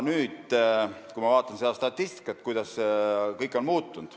Nüüd ma vaatan aga statistikat ja näen, kuidas kõik on muutunud.